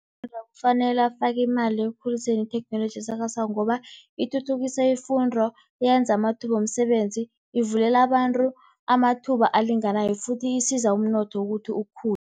kufanele afake imali ekukhuliseni itheknoloji esakhasako, ngoba ithuthukisa ifundo, yenza amathuba womsebenzi, ivulela abantu amathuba alinganayo futhi isiza umnotho ukuthi ukukhule.